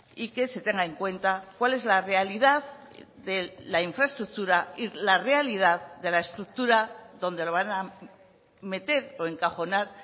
y que se tenga en cuenta cuál es la realidad de la infraestructura y la realidad de la estructura donde lo van a meter o encajonar